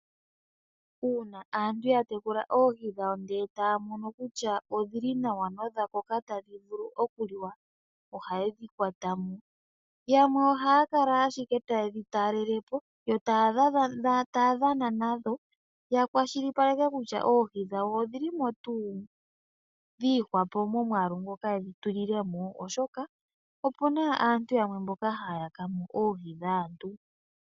Uuna aantu yatekula oohi dhawo ndele taya mono kutya odhili nawa nodha koka tadhi vulu okuliwa ohayedhi kwatamo. Yamwe ohaya kala ashike tayedhi talelepo yo taya dhana nadho ya kwashilipaleke kutya oohi dhawo odhilimo tuu dhi ihwapo momwaalu ngoka yedhi tulilemo ,oshoka opena aantu mboka haya yakamo oohi dhaantu.